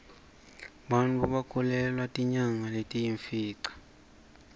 bantfu bakhulelwa tinyanga letiyimfica